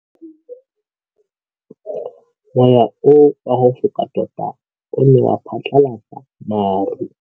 Mowa o wa go foka tota o ne wa phatlalatsa maru.